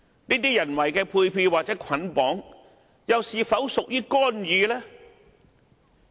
這種人為的配票或捆綁式投票，又是否屬於干預呢？